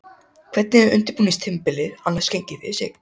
Hvernig hefur undirbúningstímabilið annars gengið fyrir sig?